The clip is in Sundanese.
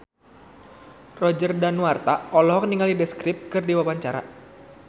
Roger Danuarta olohok ningali The Script keur diwawancara